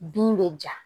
Bin bɛ ja